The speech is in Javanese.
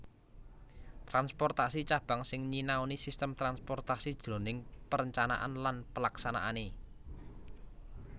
Transportasi Cabang sing nyinaoni sistem transportasi jroning perencanaan lan pelaksanaané